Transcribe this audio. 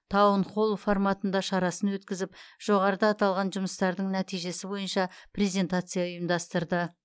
таун холл форматында шарасын өткізіп жоғарыда аталған жұмыстардың нәтижесі бойынша презентация ұйымдастырды